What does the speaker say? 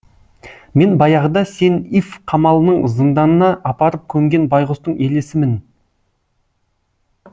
мен баяғыда сен иф қамалының зынданына апарып көмген байғұстың елесімін